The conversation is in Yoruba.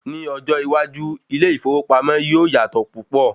Ní ọjọ́ iwájú, ilé ìfowópamọ́ yíò yàtọ̀ púpọ̀.